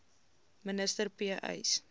minister p uys